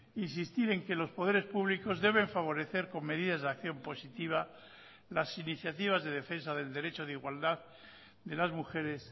insistir en que los poderes públicos deben favorecer con medidas de acción positiva las iniciativas de defensa del derecho de igualdad de las mujeres